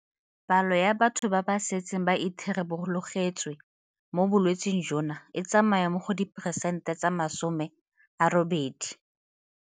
Palo ya batho ba ba setseng ba itharabologetswe mo bolwetseng jono e tsamaya mo go 80 percent.